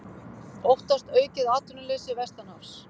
Óttast aukið atvinnuleysi vestanhafs